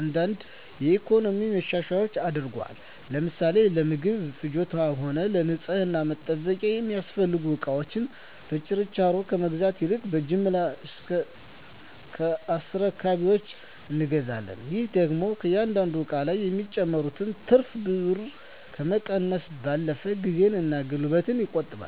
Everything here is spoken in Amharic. አንዳንድ የኢኮኖሚ ማሻሻያዎች አድርጓል። ለምሳሌ ለምግብ ፍጆታም ሆነ ለንፅህና መጠበቂያ የሚያስፈልጉ እቃወችን በችርቻሮ ከመግዛት ይልቅ በጅምላ ከአስረካቢወች እንገዛለን። ይህ ደግሞ ከእያንዳንዱ እቃ ላይ የሚጨመርብንን ትርፍ ብር ከመቀነሱም ባለፈ ጊዜን እና ጉልበትን ይቆጥባል።